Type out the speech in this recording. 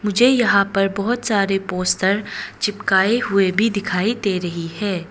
मुझे यहां पर बहुत सारे पोस्टर चिपकाए हुए भी दिखाई दे रही है।